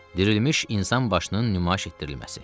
Dirilmiş insan başının nümayiş etdirilməsi.